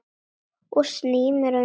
Ég sný mér undan.